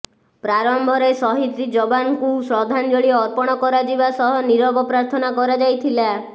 ପ୍ରାରମ୍ଭରେ ସହିଦ୍ ଯବାନଙ୍କୁ ଶ୍ରଦ୍ଧାଞ୍ଜଳି ଅର୍ପଣ କରାଯିବା ସହ ନିରବ ପ୍ରାର୍ଥନା କରାଯାଇଥିଲା